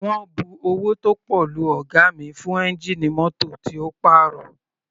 Wọ́n bu owó tó pọ̀ lu ọ̀ga mi fún ẹ́ngìnì mótò tí ó pàrọ̀.